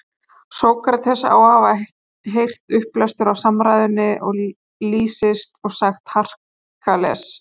Sókrates á að hafa heyrt upplestur á samræðunni Lýsis og sagt: Herakles!